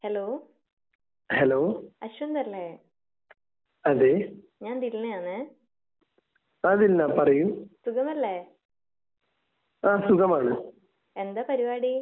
Hello Ashwivanth അല്ലേ ഞാൻ ദിൽനയാണ്. സുഖമല്ലേ? എന്താ പരുപാടി?